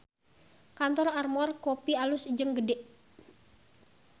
Kantor Armor Kopi alus jeung gede